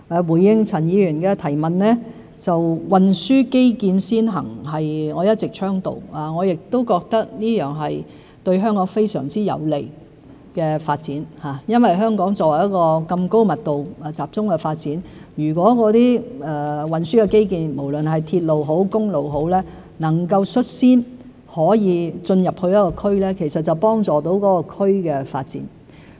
回應陳議員的提問，運輸基建先行是我一直倡導的，我亦覺得這是對香港非常有利的發展，因為香港這麼高密度集中發展，如果運輸基建——無論是鐵路也好、公路也好——能夠率先進入一個區，就可以幫助那個區的發展。